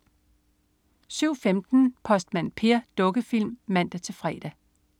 07.15 Postmand Per. Dukkefilm (man-fre)